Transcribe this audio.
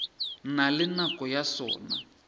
na le nako ya sona